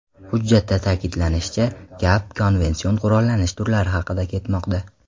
Hujjatda ta’kidlanishicha, gap konvension qurollanish turlari haqida ketmoqda.